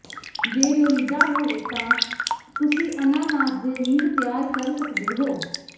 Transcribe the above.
ਜੇ ਲੋੜੀਦਾ ਹੋਵੇ ਤਾਂ ਤੁਸੀਂ ਅਨਾਨਾਸ ਦੇ ਰਿੰਗ ਤਿਆਰ ਕਰ ਸਕਦੇ ਹੋ